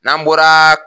N'an bɔra